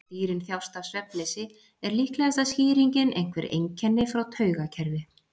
Ef dýrin þjást af svefnleysi er líklegasta skýringin einhver einkenni frá taugakerfi.